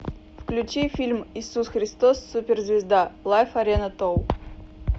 включи фильм исус христос суперзвезда лайф арена тур